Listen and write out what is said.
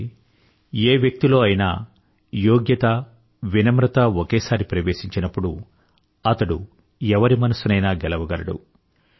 అంటే ఏ వ్యక్తిలో అయినా యోగ్యత వినమ్రత ఒకేసారి ప్రవేశించినప్పుడు అతడు ఎవరి మనసునైనా గెలవగలడు